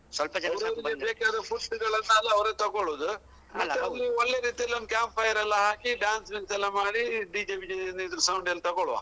ಅವ್ರೆಲ್ಲಾ fruits ಗಳನ್ನ ಅವ್ರೆ ತೊಗೊಳುದು ಮತ್ತೆ ಅಲ್ಲಿ ಒಳ್ಳೆ ರೀತಿಯಲ್ಲಿ ಒಂದ್ camp fire ಎಲ್ಲಾ ಹಾಕಿ dance ಗಿನ್ಸ್ ಎಲ್ಲಾ ಮಾಡಿ DJ ವಿಜೆ ಏನಿದ್ರು sound ಏನ್ ತಗೋಲ್ವಾ.